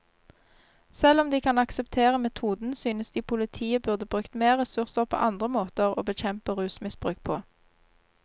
Selv om de kan akseptere metoden, synes de politiet burde brukt mer ressurser på andre måter å bekjempe rusmisbruk på.